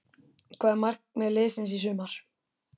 Hvert er markmið liðsins í sumar?